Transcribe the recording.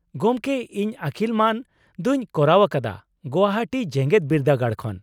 ᱜᱚᱢᱠᱮ ᱤᱧ ᱟᱠᱤᱞ ᱢᱟᱹᱱ ᱫᱚᱧ ᱠᱚᱨᱟᱣ ᱟᱠᱟᱫᱟ ᱜᱚᱣᱦᱟᱴᱤ ᱡᱮᱜᱮᱫ ᱵᱤᱨᱫᱟᱹᱜᱟᱲ ᱠᱷᱚᱱ ᱾